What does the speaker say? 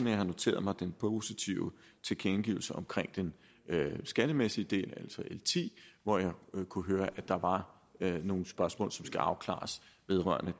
jeg har noteret mig den positive tilkendegivelse om den skattemæssige del altså l ti hvor jeg kunne høre at der var nogle spørgsmål som skal afklares vedrørende